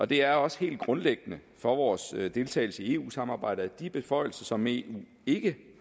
det er også helt grundlæggende for vores deltagelse i eu samarbejdet at de beføjelser som eu ikke